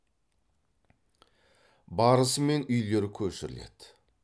барысымен үйлер көшіріледі